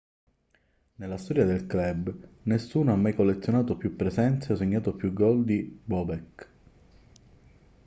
nella storia del club nessuno ha mai collezionato più presenze o segnato più gol di bobek